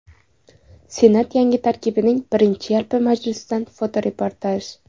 Senat yangi tarkibining birinchi yalpi majlisidan fotoreportaj.